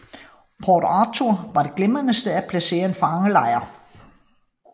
Port Arthur var et glimrende sted at placere en fangelejr